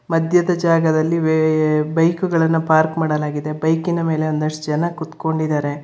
ಮಧ್ಯದ ಜಾಗದಲ್ಲಿ ವೇ ಬೈಕುಗಳನ್ನ ಪಾರ್ಕ್ ಮಾಡಲಾಗಿದೆ ಬೈಕಿನ ಮೇಲೆ ಒಂದಷ್ಟು ಜನ ಕೂತ್ಕೊಂಡಿದ್ದಾರೆ.